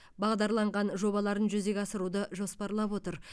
бағдарланған жобаларын жүзеге асыруды жоспарлап отыр